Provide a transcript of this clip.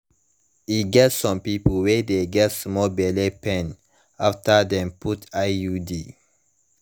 e get some people wey de get small belle pain after dem put iud